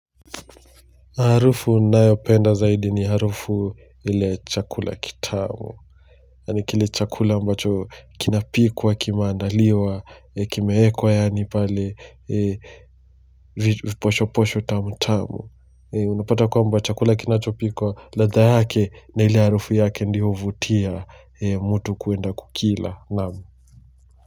Harufu ninayo penda zaidi ni harufu ile chakula kitamu, yani kile chakula ambacho kinapikwa kimandaliwa, kimehekwa yani pale posho posho tamtamu, unapata kwa mba chakula kinachopikwa ladha yake na ile harufu yake ndio uvutia mutu kuenda kukila naam.